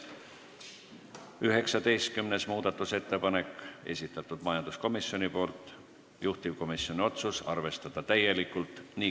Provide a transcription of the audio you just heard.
19. muudatusettepanek – majanduskomisjoni esitatud, juhtivkomisjoni otsus: arvestada täielikult.